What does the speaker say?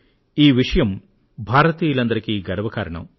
ఈ విషయం భారతీయులందరికీ గర్వకారణం